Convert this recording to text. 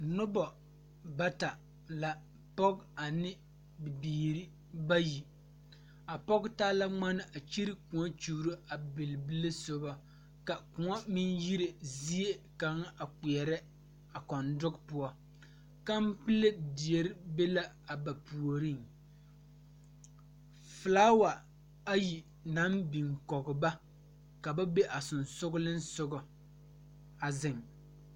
Noba bata la pɔge ane bibiiri bayi a pɔge taa la ŋmaan a kyɛre kõɔ kyuuro a bilebile soba kõɔ mine yiri zie kaŋa kpɛre a kodogi poɔ kanpele dire be la a ba puori poɔ fiilaawa ayi naŋ biŋ kɔŋ ba ka ba be a sonsogle soga a zeŋ.